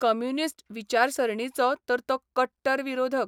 Communist विचारसरणीचो तर तो कट्टर विरोधक.